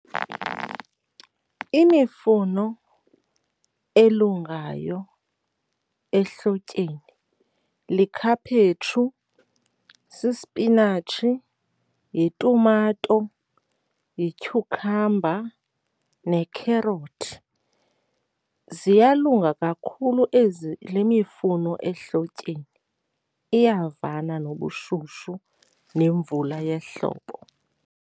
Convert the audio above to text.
Imifuno elungayo ehlotyeni likhaphetshu, sisipinatshi, yitumato, yityhukhamba nekherothi. Ziyalunga kakhulu ezi, le mifuno ehlotyeni, iyavana nobushushu nemvula yehlobo.